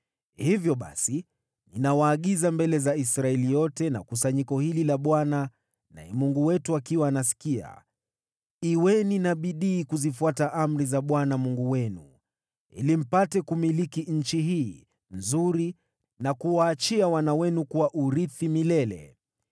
“Hivyo basi ninawaagiza mbele za Israeli yote na kusanyiko hili la Bwana naye Mungu wetu akiwa anasikia: Kuweni na bidii kuzifuata amri za Bwana Mungu wenu, ili mpate kumiliki nchi hii nzuri na kuwaachia wana wenu kuwa urithi milele.